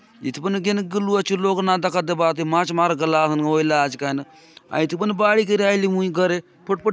इति पने घेनुक गलु आचू लोग ना दखा देबा आत ये माछ मारके गला असन होयला आचे कायनुक हायती पने बाहड़ी करि आयलि मुय घरे फटफटी --